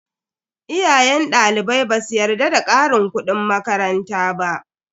Iyayen dalibai basu yarda da karin kudin makaranta ba.